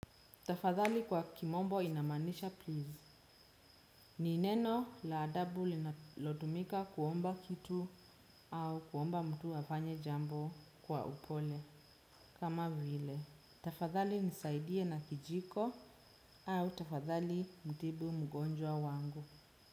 Tafadhali kwa kimombo inamanisha please. Ni neno la adabu linalotumika kuomba kitu au kuomba mtu afanye jambo kwa upole. Kama vile, tafadhali nisaidie na kijiko au tafadhali mtibu mgonjwa wangu.